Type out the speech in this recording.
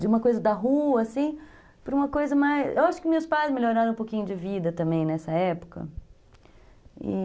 De uma coisa da rua, assim, para uma coisa mais... Eu acho que meus pais melhoraram um pouquinho de vida também nessa época, e